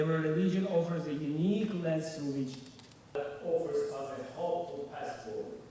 Hər din bizə irəliləmək ümidi verən unikal bir dərs təklif edir.